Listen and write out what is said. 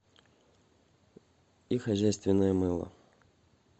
и хозяйственное мыло